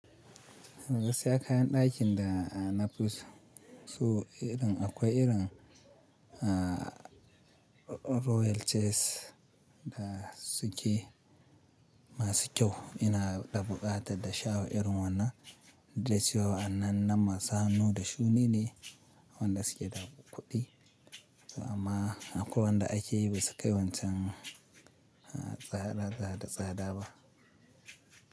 Gaskiya kayan dakin da a nafi so irin akwai irin a royal chase da suke masu kyau. Ina ɗabuƙata da shawa irin wannan, duk da cewa wannan na masu hannu da shuni ne wanda suke da kuɗi. Amma akwai wanda ake yi ba su kai wancan a tsada, tsada, tsada ba.